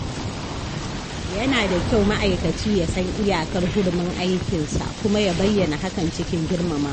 Yana da kyau ma’aikaci ya san iyakar hurumin aikinsa kuma ya bayyana hakan cikin girmamawa.